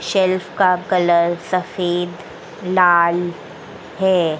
Shelf का colour सफेद लाल है।